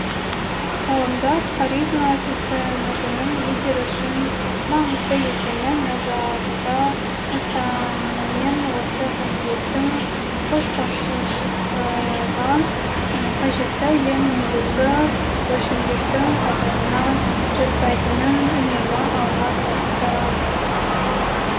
ғалымдар харизма түсінігінің лидер үшін маңызды екенін назарда ұстаныммен осы қасиеттің көшбасшысыға қажетті ең негізгі өлшемдердің қатарына жатпайтынын үнемі алға тартады